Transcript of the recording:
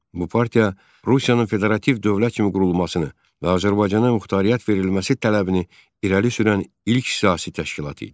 Bu partiya Rusiyanın federativ dövlət kimi qurulmasını və Azərbaycana muxtariyyət verilməsi tələbini irəli sürən ilk siyasi təşkilat idi.